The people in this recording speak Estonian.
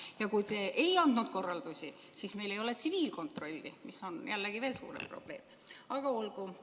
Ja kui te ei andnud korraldusi, siis meil ei ole tsiviilkontrolli, mis on jällegi veel suurem probleem, aga olgu.